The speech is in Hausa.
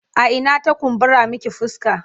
A ina ta kumbura miki fuska?